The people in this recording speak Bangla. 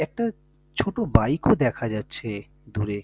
একটা ছোট বাইক ও দেখা যাচ্ছে দূরে।